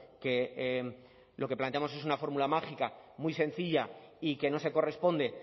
que lo que planteamos es una fórmula mágica muy sencilla y que no se corresponde